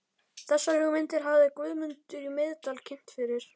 Þessar hugmyndir hafði Guðmundur í Miðdal kynnt fyrir